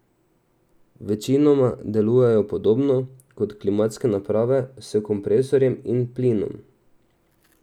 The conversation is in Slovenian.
Večinoma delujejo podobno kot klimatske naprave, s kompresorjem in plinom.